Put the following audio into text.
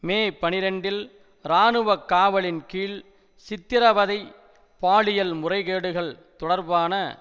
மே பனிரெண்டில் இராணுவ காவலின் கீழ் சித்திரவதை பாலியல் முறைகேடுகள் தொடர்பான